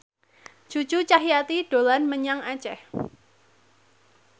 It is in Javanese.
Cucu Cahyati dolan menyang Aceh